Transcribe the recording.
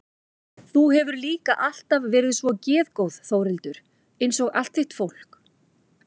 Þú hefur líka alltaf verið svo geðgóð Þórhildur einsog allt þitt fólk.